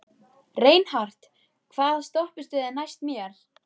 Reinhart, hvaða stoppistöð er næst mér?